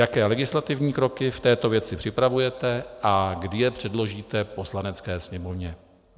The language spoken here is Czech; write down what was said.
Jaké legislativní kroky v této věci připravujete a kdy je předložíte Poslanecké sněmovně?